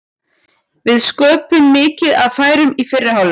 Við sköpuðum mikið af færum í fyrri hálfleik.